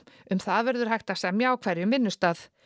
um það verður hægt að semja á hverjum vinnustað